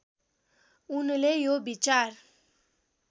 उनले यो विचार